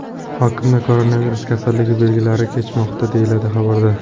Hokimda koronavirus kasalligi belgilarsiz kechmoqda”, deyiladi xabarda.